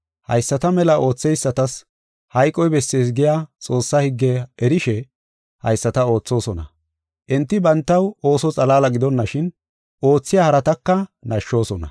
Hayisata mela ootheysatas hayqoy bessees giya Xoossaa higgiya erishe, haysata oothosona. Enti bantaw ooso xalaala gidonashin, oothiya harataka nashshoosona.